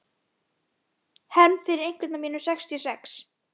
Hefnd fyrir einhvern af mínum sextíu og sex.